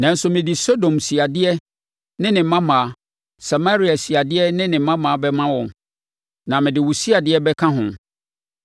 “ ‘Nanso, mede Sodom siadeɛ ne ne mmammaa, Samaria siadeɛ ne ne mmammaa bɛma wɔn, na mede wo siadeɛ bɛka ho,